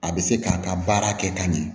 A bɛ se k'a ka baara kɛ ka ɲɛ